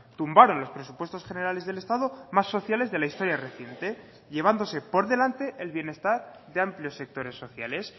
tumbaron los presupuestos generales del estado más sociales de la historia reciente llevándose por delante el bienestar de amplios sectores sociales